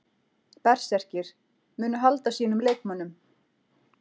Berserkir: Munu halda sínum leikmönnum.